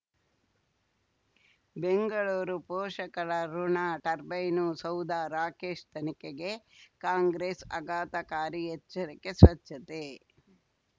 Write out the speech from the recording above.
ಬೆಂಗಳೂರು ಪೋಷಕರಋಣ ಟರ್ಬೈನು ಸೌಧ ರಾಕೇಶ್ ತನಿಖೆಗೆ ಕಾಂಗ್ರೆಸ್ ಆಘಾತಕಾರಿ ಎಚ್ಚರಿಕೆ ಸ್ವಚ್ಛತೆ